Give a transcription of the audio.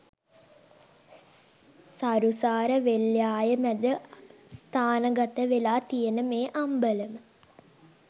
සරුසාර වෙල් යාය මැද ස්ථානගත වෙලා තියෙන මේ අම්බලම